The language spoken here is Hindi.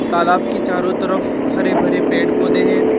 तालाब के चारों तरफ हरे भरे पेड़ पौधे हैं।